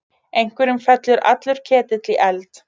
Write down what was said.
Einhverjum fellur allur ketill í eld